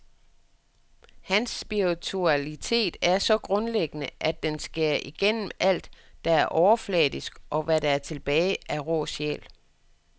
Hans spiritualitet er så grundlæggende, at den skærer igennem alt, der er overfladisk, og hvad der er tilbage er rå sjæl.